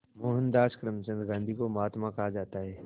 मोहनदास करमचंद गांधी को महात्मा कहा जाता है